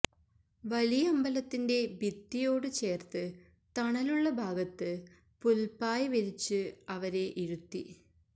വലിയമ്പലത്തിന്റെ ഭിത്തിയോട് ചേര്ത്ത് തണലുള്ള ഭാഗത്ത് പുല്പ്പായ് വിരിച്ച് അവരെ ഇരുത്തി